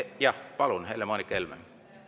Jah, palun, Helle-Moonika Helme!